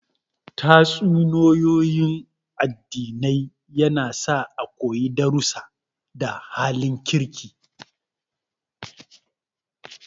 Tatsuniyoyin addinai yana sa a koyi darrusa da halin kirki